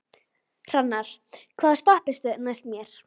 Hrannar, hvaða stoppistöð er næst mér?